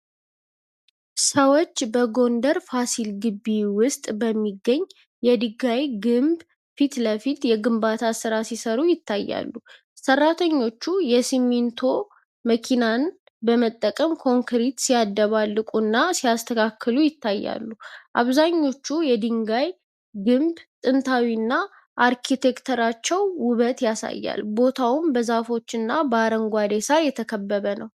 ሰዎች በጎንደር ፋሲል ግቢ ውስጥ በሚገኝ የድንጋይ ግንብ ፊት ለፊት የግንባታ ሥራ ሲሠሩ ይታያሉ። ሠራተኞቹ የሲሚንቶ መኪናን በመጠቀም ኮንክሪት ሲያደባለቁና ሲያስተካክሉ ይታያሉ። አብዛኞቹ የድንጋይ ግንብ ጥንታዊና አርኪቴክቸራዊ ውበት ያሳያል፤ ቦታውም በዛፎችና በአረንጓዴ ሣር የተከበበ ነው።